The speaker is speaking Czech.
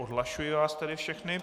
Odhlašuji vás tedy všechny.